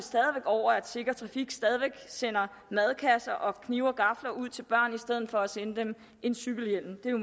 over at sikker trafik stadig væk sender madkasser og knive og gafler ud til børn i stedet for at sende dem en cykelhjelm det